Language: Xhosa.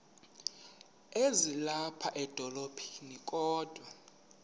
ezilapha edolophini kodwa